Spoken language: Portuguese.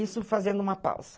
Isso fazendo uma pausa.